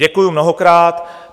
Děkuji mnohokrát.